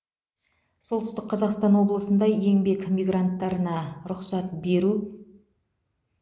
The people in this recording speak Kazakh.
солтүстік қазақстан облысында еңбек мигранттарына рұқсат беру